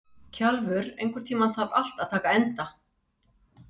Kjalvör, einhvern tímann þarf allt að taka enda.